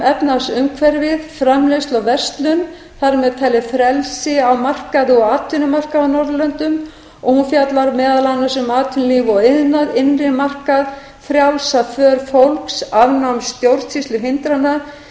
efnahagsumhverfið framleiðslu og verslun þar með talið frelsi á markaði og atvinnumarkaði á norðurlöndum hún fjallar meðal annars um atvinnulíf og iðnað innri markað frjálsa för fólks afnám stjórnsýsluhindrana